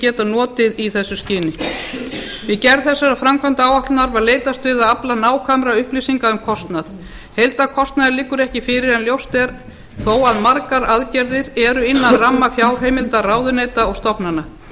geta notað í þessu skyni við gerð þessarar framkvæmdaáætlunar var leitast við að afla nákvæmra upplýsinga um kostnað heildarkostnaður liggur ekki fyrir en ljóst er þó að margar aðgerðir eru innan ramma fjárheimilda ráðuneyta og stofnana